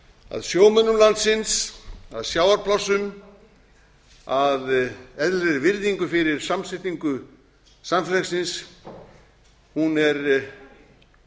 að sjómönnum landsins að sjávarplássum að eðlilegri virðingu fyrir samsetningu samfélagsins er